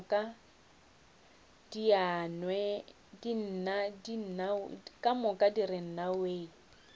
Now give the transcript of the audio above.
ka moka di re nnawee